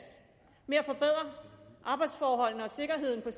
med at forbedre arbejdsforholdene og sikkerheden